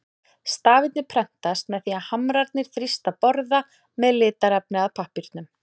Stafirnir prentast með því að hamrarnir þrýsta borða með litarefni að pappírnum.